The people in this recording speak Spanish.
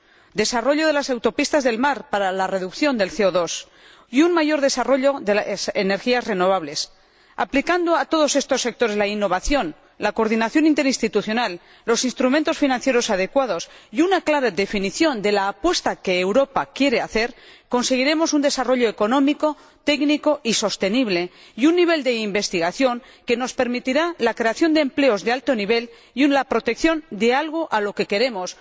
Hay que desarrollar las autopistas del mar para la reducción del CO 2 y conseguir un mayor desarrollo de las energías renovables. Aplicando a todos estos sectores la innovación, la coordinación interinstitucional, los instrumentos financieros adecuados y una clara definición de la apuesta que Europa quiere hacer, conseguiremos un desarrollo económico, técnico y sostenible, y un nivel de investigación que nos permitirá la creación de empleos de alto nivel y la protección de algo a lo que queremos.